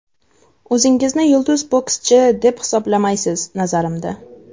O‘zingizni yulduz bokschi, deb hisoblamaysiz, nazarimda.